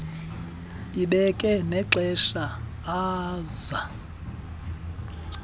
ibeke nexesha oza